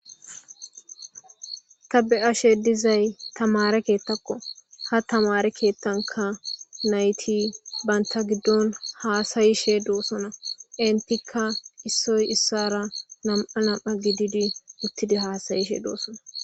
ka be ashe dizay tamare keettakko ha tamare keettanka nayti baynta giddon haasayishe doossona entikka issoy issara nam7a lam7a gididi uttidi haasayishe doossona